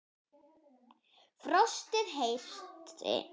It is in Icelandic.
Frostið herti.